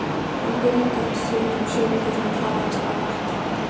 Hann blygðaðist sín og sigldi sem hraðast af vettvangi.